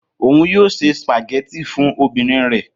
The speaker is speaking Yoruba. Oun yoo se spaghetti fun ọmọbirin rẹ